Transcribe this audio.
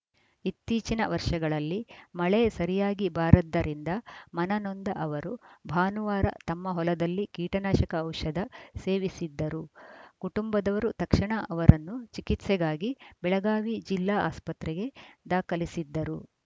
ಇತ್ತೀಚಿನ ವರ್ಷಗಳಲ್ಲಿ ಮಳೆ ಸರಿಯಾಗಿ ಬಾರದ್ದರಿಂದ ಮನನೊಂದ ಅವರು ಭಾನುವಾರ ತಮ್ಮ ಹೊಲದಲ್ಲಿ ಕೀಟನಾಶಕ ಔಷಧ ಸೇವಿಸಿದ್ದರು ಕುಟುಂಬದವರು ತಕ್ಷಣ ಅವರನ್ನು ಚಿಕಿತ್ಸೆಗಾಗಿ ಬೆಳಗಾವಿ ಜಿಲ್ಲಾ ಆಸ್ಪತ್ರೆಗೆ ದಾಖಲಿಸಿದ್ದರು